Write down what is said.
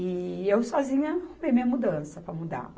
E eu sozinha arrumei minha mudança para mudar.